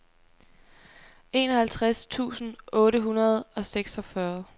enoghalvtreds tusind otte hundrede og seksogfyrre